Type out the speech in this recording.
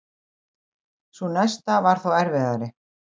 Sú næsta var þó erfiðari.